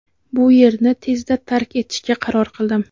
bu yerni tezda tark etishga qaror qildim.